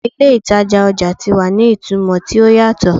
Awọn ile itaja ọja ti wa ni itumọ ti o yatọ